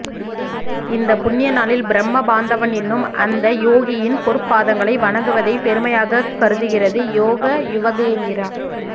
இந்தப் புண்ணியநாளில் பிரம்மபாந்தவன் என்னும் அந்த யோகியின் பொற்பாதங்களை வணங்குவதை பெருமையாகக் கருதுகிறது யோகயுவகேந்திரா